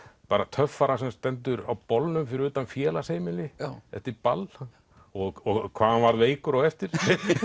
töffara sem stendur á bolnum fyrir utan félagsheimili eftir ball og hvað hann varð veikur á eftir